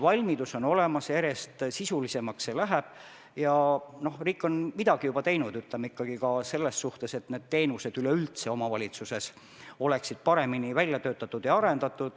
Valmidus on olemas ja töö läheb järjest sisulisemaks ning riik on midagi juba ka teinud selles suhtes, et need teenused oleksid omavalitsustes paremini välja töötatud ja arendatud.